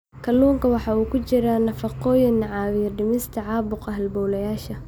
Kalluunka waxaa ku jira nafaqooyin caawiya dhimista caabuqa halbowlayaasha.